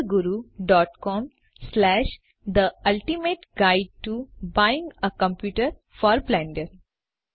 Blender Guru com the ultimate guide to buying a computer for Blender